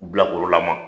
Bilakɔrɔla ma